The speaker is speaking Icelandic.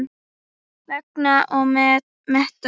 Vega og meta.